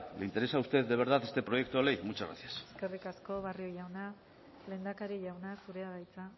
le interesa a usted de verdad este proyecto de ley muchas gracias eskerrik asko barrio jauna lehendakari jauna zurea da hitza